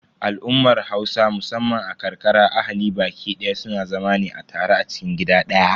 Al'ummar Hausa musamman a ƙarƙara ahali baƙi daya suna zama ne a tare a cikin gida ɗaya.